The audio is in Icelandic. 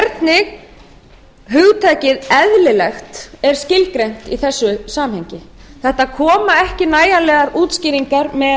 hvernig hugtakið eðlilegt er skilgreint í þessu samhengi það koma ekki nægilegar útskýringar